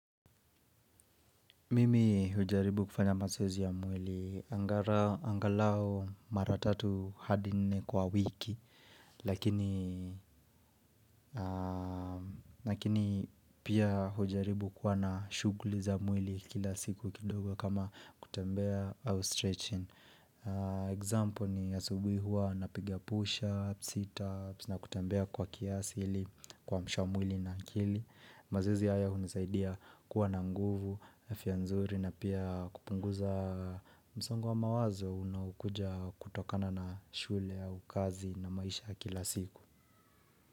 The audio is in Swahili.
Mimii hujaribu kufanya mazoezi ya mwilii. Angalaa angalau mara tatu hadi nne kwa wiki, lakini i aaaamh lakini pia hujaribu kuwa na shughuli za mwili kila siku kidogo kama kutembea au stretching. Aaa Example ni asubuhi hua napiga pusha, sita, na kutambea kwa kiasi ili kuamsha mwili na akili mazoezi haya hunisaidia kuwa na nguvu, afya nzuri na pia kupunguzaaa msongo wa mawazo Unaukuja kutokana na shule au kazi na maisha ya kila siku.